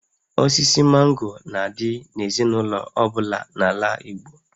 Osisi mango na-adị n'ezinaụlọ ọ bụla n'ala Igbo